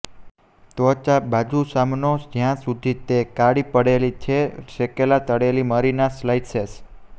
ત્વચા બાજુ સામનો જ્યાં સુધી તે કાળી પડેલી છે શેકેલા તળેલી મરી ના સ્લાઇસેસ